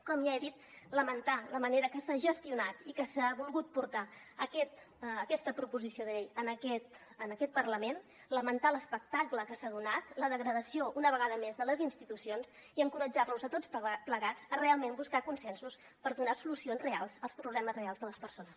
com ja he dit lamentar la manera amb què s’ha gestionat i amb què s’ha volgut portar aquesta proposició de llei en aquest parlament lamentar l’espectacle que s’ha donat la degradació una vegada més de les institucions i encoratjar los a tots plegats a realment buscar consensos per donar solucions reals als problemes reals de les persones